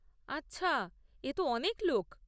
আচ্ছা, এ তো অনেক লোক।